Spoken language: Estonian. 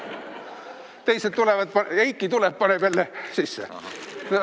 Teised tulevad, Eiki tuleb ja paneb jälle sisse.